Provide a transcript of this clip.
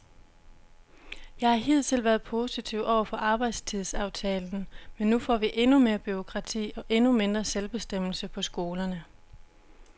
Jeg har hidtil været positiv over for arbejdstidsaftalen, men nu får vi endnu mere bureaukrati og endnu mindre selvbestemmelse på skolerne.